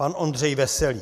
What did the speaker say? Pan Ondřej Veselý.